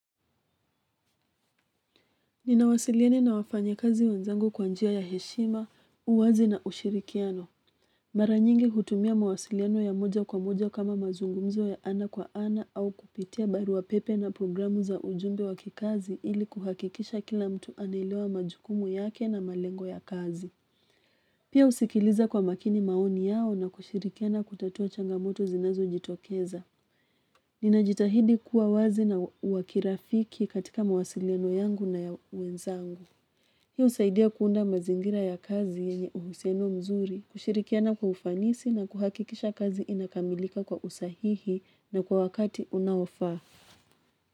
Ninawasiliana na wafanyi kazi wenzangu kwa njia ya heshima uwazi na ushirikiano mara nyingi hutumia mawasiliano ya moja kwa moja kama mazungumzo ya ana kwa ana au kupitia barua pepe na programu za ujumbe wakikazi ili kuhakikisha kila mtu anaelewa majukumu yake na malengo ya kazi. Pia husikiliza kwa makini maoni yao na kushirikiana kutatua changamoto zinazojitokeza. Ninajitahidi kuwa wazi na wa kirafiki katika mawasiliano yangu na ya wenzangu. Hiyo husaidia kuunda mazingira ya kazi yenye uhusiano mzuri, kushirikiana kwa ufanisi na kuhakikisha kazi inakamilika kwa usahihi na kwa wakati unaofaa.